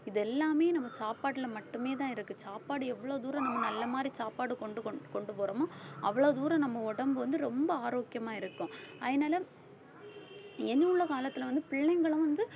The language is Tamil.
இது எல்லாமே நம்ம சாப்பாட்டுல மட்டுமேதான் இருக்கு சாப்பாடு எவ்வளோ தூரம் நம்ம நல்ல மாதிரி சாப்பாடு கொண்டு கொண்~ கொண்டுபோறோமோ அவ்வளவு தூரம் நம்ம உடம்பு வந்து ரொம்ப ஆரோக்கியமா இருக்கும். அதனால எண்ணியுள்ள காலத்துல வந்து பிள்ளைங்களும் வந்து